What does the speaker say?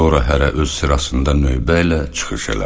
Sonra hərə öz sırasında növbə ilə çıxış elədi.